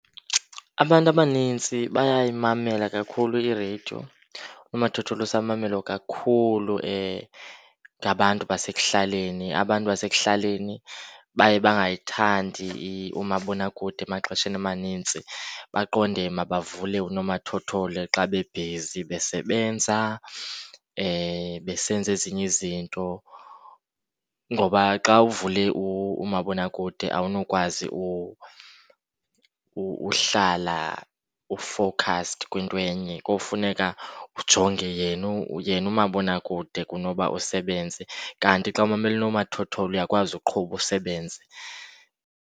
Abantu abanintsi bayayimela kakhulu ireyidiyo. Unomathotholo usamamelwa kakhulu ngabantu basekuhlaleni. Abantu basekuhlaleni baye bangayithandi umabonakude emaxesheni amanintsi, baqonde mabavule unomathotholo xa bebhizi besebenza, besenza ezinye izinto. Ngoba xa uvule umabonakude awunokwazi uhlala u-focused kwinto enye. Kofuneka ujonge yena , yena umabonakude kunoba usebenze, kanti xa umamele unomathotholo uyakwazi uqhuba usebenze.